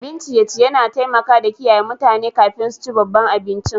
Abin ciye-ciye na taimaka da kiyaye mutane kafin su ci babban abincin.